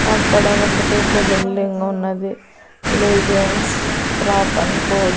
అక్కడ ఒక పెద్ద బిల్డింగు ఉన్నది లెజెండ్స్ ప్రాప్ అండ్ కొ .